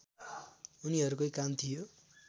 उनीहरूकै काम थियो